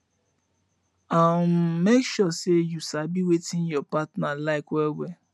um mek sure say yu sabi wetin yur partner like well well